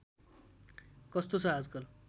कस्तो छ आजकल